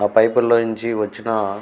ఆ పైపు లు నుంచి వచ్చిన --